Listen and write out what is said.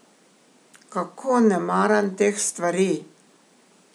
Kako ne maram teh stvari!